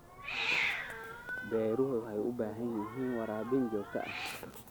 Beeruhu waxay u baahan yihiin waraabin joogto ah.